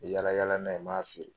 Yaala yaala n'a ye, n b'a feere.